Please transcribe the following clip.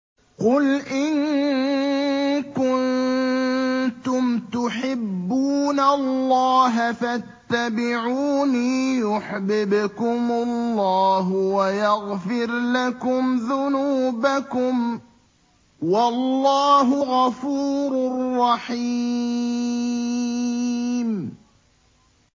قُلْ إِن كُنتُمْ تُحِبُّونَ اللَّهَ فَاتَّبِعُونِي يُحْبِبْكُمُ اللَّهُ وَيَغْفِرْ لَكُمْ ذُنُوبَكُمْ ۗ وَاللَّهُ غَفُورٌ رَّحِيمٌ